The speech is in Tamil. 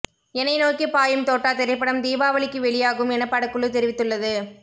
எனை நோக்கி பாயும் தோட்டா திரைப்படம் தீபாவளிக்கு வெளியாகும் என படக்குழு தெரிவித்துள்ளது